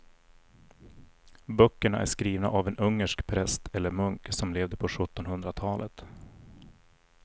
Böckerna är skrivna av en ungersk präst eller munk som levde på sjuttonhundratalet.